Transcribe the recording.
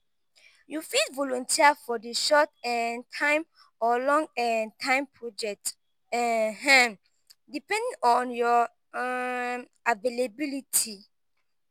you fit volunteer for di short-term or long-term project um depending on your um availability.